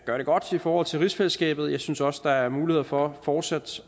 gør det godt i forhold til rigsfællesskabet og jeg synes også der er muligheder for fortsat